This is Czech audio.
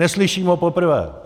Neslyším ho poprvé.